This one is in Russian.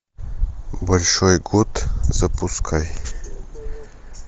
большой кот запускай